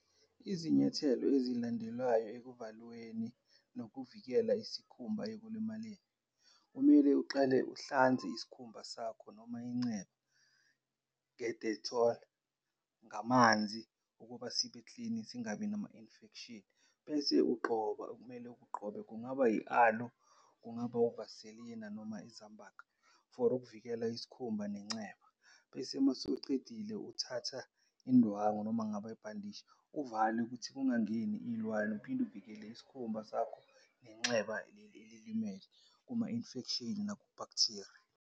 Izinyathelo ezilandelwayo ekuvalweni nokuvikela isikhumba ekulimaleni, kumele uqale uhlanze isikhumba sakho noma inceba nge-Dettol, ngamanzi ukuba sibeklini singabi nama-infection bese ugqoba, okumele ukugqobe. Kungaba yi-aloe, kungaba uVaseline noma iZam-Buk for ukuvikela isikhumba nenceba. Bese mase ucedile, uthatha indwangu noma kungaba ibhandishi uvale ukuthi kungangeni iy'lwane uphinde uvikele isikhumba sakho, nenxeba leli elilimele kuma-infection naku-bacteria.